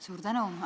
Suur tänu!